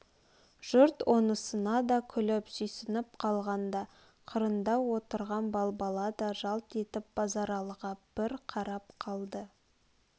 жұрт онысына да күліп сүйсініп қалғанда қырындау отырған балбала да жалт етіп базаралыға бір қарап қалды